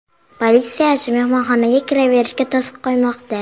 Politsiyachi mehmonxonaga kiraverishga to‘siq qo‘ymoqda.